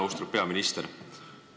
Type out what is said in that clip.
Austatud peaminister!